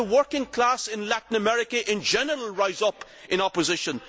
Yes, the working class in Latin America in general rise up in opposition.